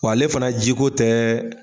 W' ale fana jiko tɛɛɛ.